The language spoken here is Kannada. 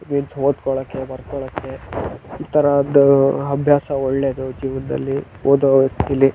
ಓತ್ಕೊಳಕ್ಕೆ ಬರ್ಕೊಳಕ್ಕೆ ಈತರ ಅಭ್ಯಾಸ ಒಳ್ಳೆದು ಜೀವನದಲ್ಲಿ ಓದೋ ವಯಸ್ಸಿನಲ್ಲಿ.